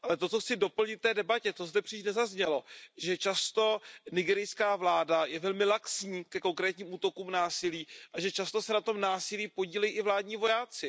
Ale to, co chci doplnit k té debatě, to zde příliš nezaznělo, že často nigerijská vláda je velmi laxní ke konkrétním útokům, násilí a že často se na tom násilí podílejí i vládní vojáci.